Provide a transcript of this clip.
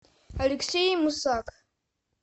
алексей мусак